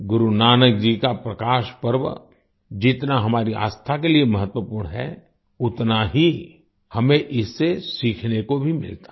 गुरु नानक जी का प्रकाश पर्व जितना हमारी आस्था के लिए महत्वपूर्ण है उतना ही हमें इससे सीखने को भी मिलता है